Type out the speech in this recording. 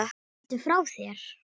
Ertu frá þér??